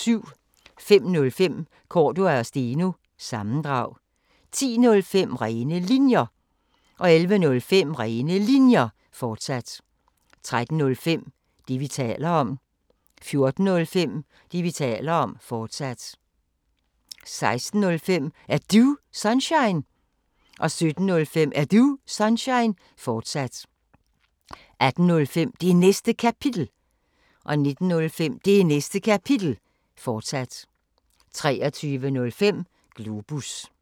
05:05: Cordua & Steno – sammendrag 10:05: Rene Linjer 11:05: Rene Linjer, fortsat 13:05: Det, vi taler om 14:05: Det, vi taler om, fortsat 16:05: Er Du Sunshine? 17:05: Er Du Sunshine? fortsat 18:05: Det Næste Kapitel 19:05: Det Næste Kapitel, fortsat 23:05: Globus